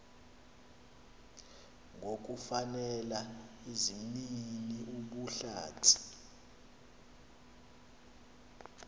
ngokufakela izimnini ubuhlanti